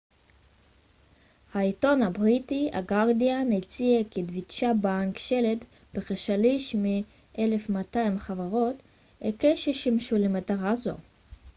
העיתון הבריטי הגרדיאן הציע כי דויטשה בנק שלט בכשליש מ־1200 חברות הקש ששימשו למטרה זו